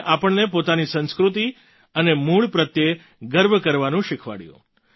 તેમણે આપણને પોતાની સંસ્કૃતિ અને મૂળ પ્રત્યે ગર્વ કરવાનું શીખવાડ્યું